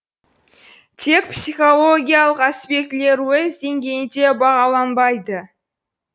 тек психологиялық аспектілер өз деңгейінде бағаланбайды